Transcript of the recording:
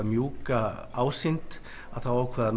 mjúka ásýnd þá ákváðum